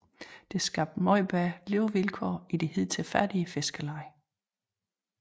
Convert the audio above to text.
Det skabte meget bedre levevilkår i det hidtil fattige fiskerleje